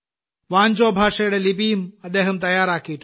വാഞ്ചോ ഭാഷയുടെ ലിപിയും അദ്ദേഹം തയ്യാറാക്കിയിട്ടുണ്ട്